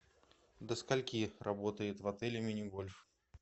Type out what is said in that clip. до скольки работает в отеле мини гольф